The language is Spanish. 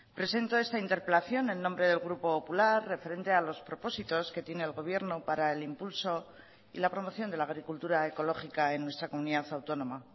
presento esta interpelación en nombre del grupo popular referente a los propósitos que tiene el gobierno para el impulso y la promoción de la agricultura ecológica en nuestra comunidad autónoma